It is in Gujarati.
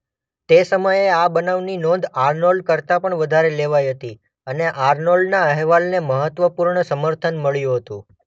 તે સમયે આ બનાવની નોંધ આર્નોલ્ડ કરતાં પણ વધારે લેવાઈ હતી અને આર્નોલ્ડના અહેવાલને મહત્વપૂર્ણ સમર્થન મળ્યું હતું.